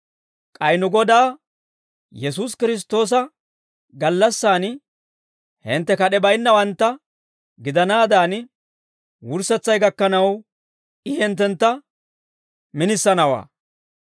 K'ay nu Godaa Yesuusi Kiristtoosa gallassan hintte kad'ee baynnawantta gidanaadan, wurssetsay gakkanaw I hinttentta minisanawaa.